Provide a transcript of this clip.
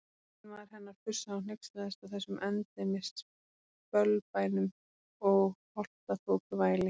Eiginmaður hennar fussaði og hneykslaðist á þessum endemis bölbænum og holtaþokuvæli.